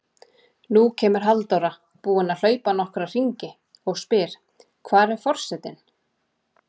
Nú kemur Halldóra, búin að hlaupa nokkra hringi, og spyr: Hvar er forsetinn?